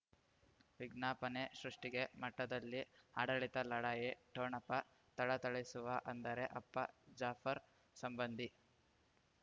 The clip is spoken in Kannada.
ವಿಜ್ಞಾಪನೆ ಸೃಷ್ಟಿಗೆ ಮಠದಲ್ಲಿ ಆಡಳಿತ ಲಢಾಯಿ ಠೊಣಪ ಥಳಥಳಿಸುವ ಅಂದರೆ ಅಪ್ಪ ಜಾಫರ್ ಸಂಬಂಧಿ